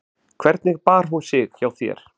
Heimir: Hvernig bar hún sig hjá þér?